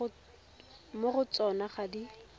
mo go tsona ga di